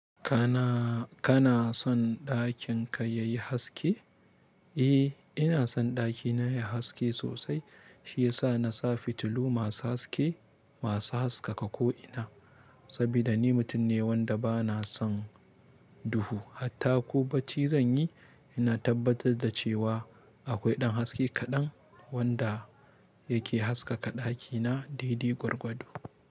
Kana, kana son ɗakin ka yayi haske? Eh ina son ɗakina yayi haske sosai shiyasa na sa fitilu masu haske, masu haskaka ko'ina. Saboda ni mutum ne wanda bana son duhu. Hatta ko bacci zanyi ina tabbatar da cewa akwai ɗan haske kaɗan wanda yake haskaka ɗakina daidai gwargwado.